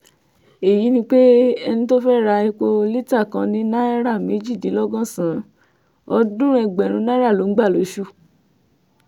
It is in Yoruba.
èyí ni pé ẹni tó fẹ́ẹ́ ra epo lítà kan ní náírà méjìdínlọ́gọ́sàn-án ọ̀ọ́dúnrún ẹgbẹ̀rún náírà ló ń gbà lóṣù